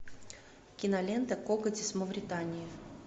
кинолента коготь из мавритании